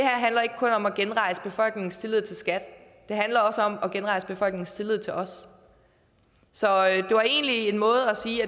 handler ikke kun om at genrejse befolkningens tillid til skat det handler også om at genrejse befolkningens tillid til os så det var egentlig en måde at sige